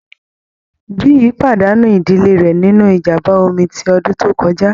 Biyi pàdánù ìdílé rẹ̀ nínú ìjàm̀bá omi ti ọdún tó kọjá.